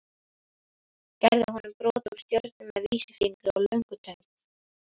Gerði honum brot úr stjörnu með vísifingri og löngutöng.